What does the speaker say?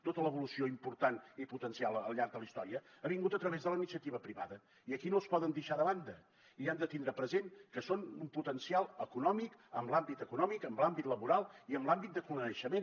tota l’evolució important i potencial al llarg de la història ha vingut a través de la iniciativa privada i aquí no es poden deixar de banda i han de tindre present que són un potencial econòmic en l’àmbit econòmic en l’àmbit laboral i en l’àmbit de coneixement